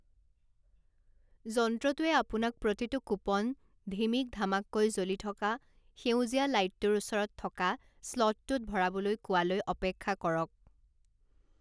যন্ত্ৰটোৱে আপোনাক প্ৰতিটো কুপন ঢিমিক ঢামাককৈ জ্বলি থকা সেউজীয়া লাইটটোৰ ওচৰত থকা স্লটটোত ভৰাবলৈ কোৱালৈ অপেক্ষা কৰক।